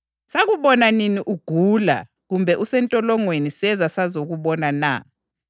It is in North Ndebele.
Sakubona nini uyisihambi sakunxusela endlini na, kumbe uswele izembatho sakugqokisa?